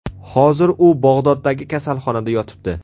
Hozir u Bag‘doddagi kasalxonada yotibdi.